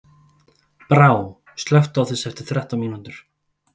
Brá, slökktu á þessu eftir þrettán mínútur.